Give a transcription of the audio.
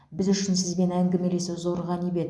біз үшін сізбен әңгімелесу зор ғанибет